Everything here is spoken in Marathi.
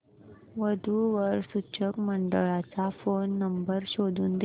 वधू वर सूचक मंडळाचा फोन नंबर शोधून दे